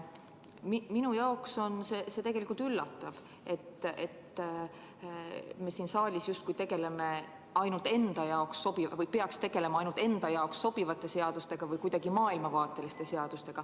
Minu jaoks on see üllatav, et me siin saalis tegeleme või peaksime tegelema ainult enda jaoks sobivate või kuidagi maailmavaateliste seadustega.